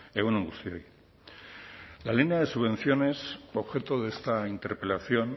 egun on guztioi la línea de subvenciones objeto de esta interpelación